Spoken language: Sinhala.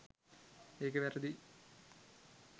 ඒක වැරදියි.